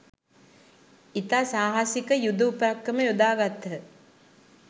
ඉතා සාහසික යුද උපක්‍රම යොදාගත්හ